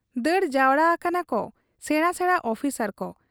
ᱫᱟᱹᱲ ᱡᱟᱣᱨᱟ ᱟᱠᱟᱱᱟᱠᱚ ᱥᱮᱬᱟ ᱥᱮᱬᱟ ᱚᱯᱷᱤᱥᱚᱨ ᱠᱚ ᱾